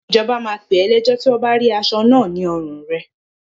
Ìjọba máa pè ọ́ lẹ́jọ́ tí wọn bá rí aṣọ náà ní ọrùn rẹ.